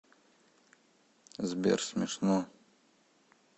сбер смешно